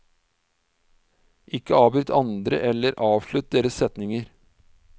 Ikke avbryt andre eller avslutt deres setninger.